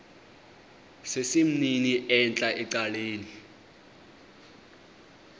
sesimnini entla ecaleni